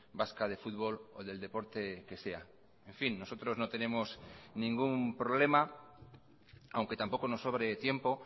vasca de fútbol o del deporte que sea en fin nosotros no tenemos ningún problema aunque tampoco nos sobre tiempo